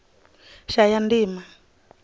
shayandima